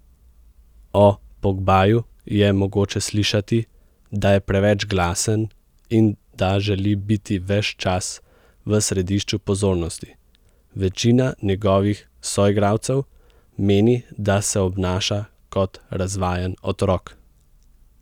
O Pogbaju je mogoče slišati, da je preveč glasen in da želi biti ves čas v središču pozornosti, večina njegovih soigralcev meni, da se obnaša kot razvajen otrok.